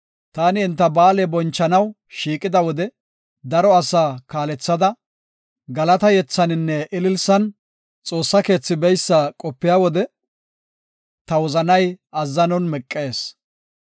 Taani enta ba7aale bonchanaw shiiqida, daro asaa kaalethada, galata yethaninne ililisan xoossa keethi beysa qopiya wode, ta wozanay azzanon meqees.